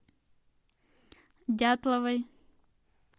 дятловой